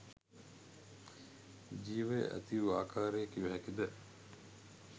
ජීවය ඇතිවූ ආකාරය කිව හැකිද?